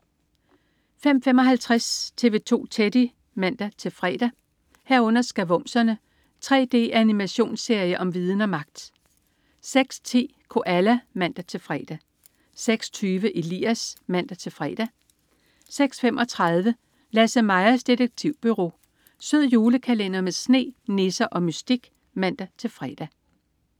05.55 TV 2 Teddy (man-fre) 05.55 Skavumserne. 3D-animationsserie om viden og magt! (man-fre) 06.10 Koala (man-fre) 06.20 Elias (man-fre) 06.35 LasseMajas Detektivbureau. Sød julekalender med sne, nisser og mystik (man-fre)